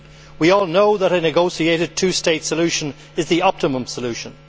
We all know that a negotiated two state solution is the optimum solution.